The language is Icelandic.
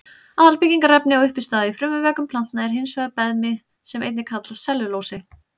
Aðalbyggingarefni og uppistaða í frumuveggjum planta er hins vegar beðmi sem einnig kallast sellulósi.